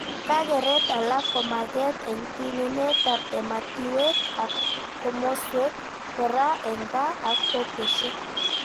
Kakeret alak komaget eng tununetab ematiwek ak komoswek, kora eng kaa ak kokweshek